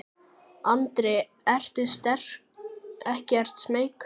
Andri: Ertu ekkert smeykur?